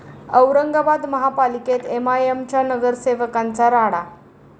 औरंगाबाद महापालिकेत एमआयएमच्या नगरसेवकांचा राडा